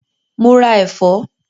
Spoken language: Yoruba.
Mo ra ẹ̀fọ́?